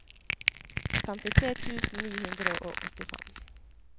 femtitre tusen ni hundre og åttifem